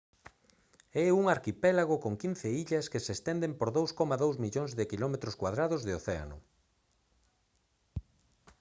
é un arquipélago con 15 illas que se estenden por 2,2 millóns de km2 de océano